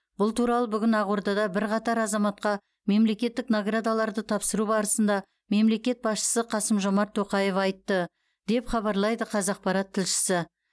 бұл туралы бүгін ақордада бірқатар азаматқа мемлекеттік наградаларды тапсыру барысында мемлекет басшысы қасым жомарт тоқаев айтты деп хабарлайды қазақпарат тілшісі